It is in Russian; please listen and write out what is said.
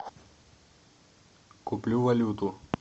куплю валюту